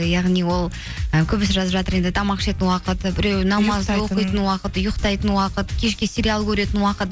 яғни ол і көбісі жазып жатыр енді тамақ ішетін уақыт і буреуі уақыт ұйықтайтын уақыт кешке сериал көретін уақыт